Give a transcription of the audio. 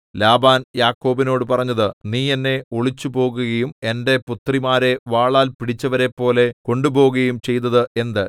Laban യാക്കോബിനോടു പറഞ്ഞത് നീ എന്നെ ഒളിച്ചു പോകുകയും എന്റെ പുത്രിമാരെ വാളാൽ പിടിച്ചവരെപ്പോലെ കൊണ്ടുപോകുകയും ചെയ്തത് എന്ത്